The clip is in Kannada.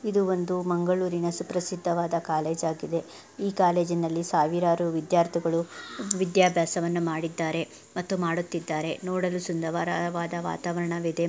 ಇದು ಒಂದು ಮಂಗಳೂರಿನ ಸುಪ್ರಸಿದ್ಧವಾದ ಕಾಲೇಜ್ ಆಗಿದೆ. ಈ ಕಾಲೇಜಿನಲ್ಲಿ ಸಾವಿರಾರು ವಿದ್ಯಾರ್ಥಿಗಳು ವಿದ್ಯಾಭ್ಯಾಸವನ್ನು ಮಾಡಿದ್ದಾರೆ ಮತ್ತು ಮಾಡುತ್ತಿದ್ದಾರೆ. ನೋಡಲು ಸುಂದವರವಾದ ವಾತಾವರಣವಿದೆ.